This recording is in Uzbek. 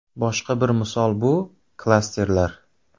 Boshqa bir misol bu – klasterlar.